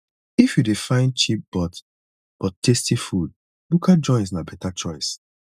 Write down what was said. if you dey find cheap but but tasty food bukka joints na better choice